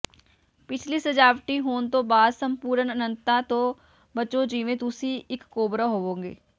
ਪਿਛਲੀ ਸਜਾਵਟੀ ਹੋਣ ਤੋਂ ਬਾਅਦ ਸੰਪੂਰਨ ਅਨੰਤਤਾ ਤੋਂ ਬਚੋ ਜਿਵੇਂ ਤੁਸੀਂ ਇੱਕ ਕੋਬਰਾ ਹੋਵੋਗੇ